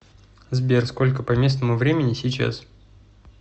сбер сколько по местному времени сейчас